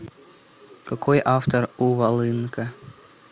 какой автор у волынка